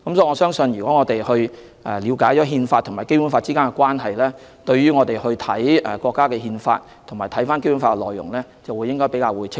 我相信，如果我們了解《憲法》和《基本法》之間的關係，當閱讀國家的《憲法》及《基本法》的內容時，便會更為清晰。